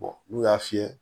n'u y'a fiyɛ